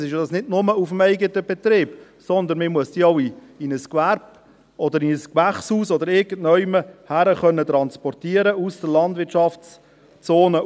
Meistens ist das ja nicht nur auf dem eigenen Betrieb, sondern man muss sie auch aus der Landwirtschaftszone in ein Gewerbe, in ein Gewächshaus hinaus oder irgendwohin transportieren können.